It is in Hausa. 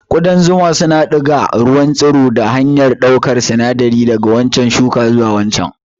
Ƙudan zuma suna diga ruwan tsiro ta hanyar ɗaukar sinadari daga wannan shuka zuwa waccan.